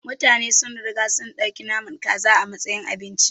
Mutane sun riga sun ɗauki naman kaza a matsayin abinci.